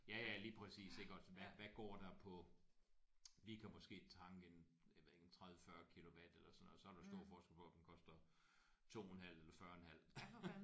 Ja ja lige præcis iggås hvad hvad går der på. Vi kan måske tanke en jeg ved ikke en 30 40 kilowatt eller sådan noget og så er der jo stor forskel på om den koster 2 en halv eller 40 en halv